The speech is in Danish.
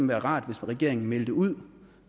være rart hvis regeringen meldte ud